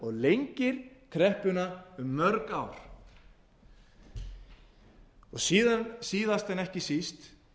lengir kreppuna um mörg ár síðast en ekki síst verðum